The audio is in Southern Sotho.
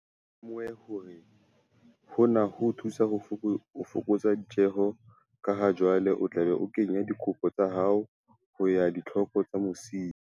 O tla be o lemohe hore hona ho o thusa ho fokotsa ditjeho ka ha jwale o tla be o kenya dikopo tsa hao ho ya ka ditlhoko tsa masimo.